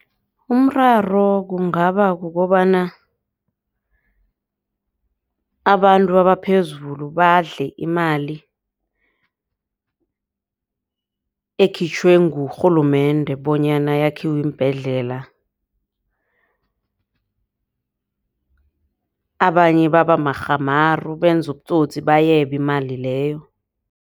Umraro kungaba kukobana abantu abaphezulu badle imali ekhitjhwe ngurhulumende bonyana kwakhiwe iimbhedlela. Abanye baba marhamaru benza ubutsotsi bayebe imali leyo.